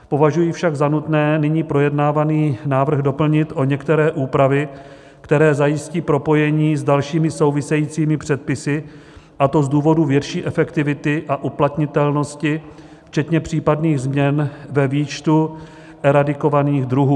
Považuji však za nutné nyní projednávaný návrh doplnit o některé úpravy, které zajistí propojení s dalšími souvisejícími předpisy, a to z důvodu větší efektivity a uplatnitelnosti včetně případných změn ve výčtu eradikovaných druhů.